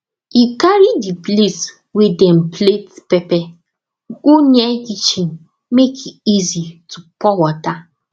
e carry the place wey dem plate pepper go near kitchen make e easy to pour water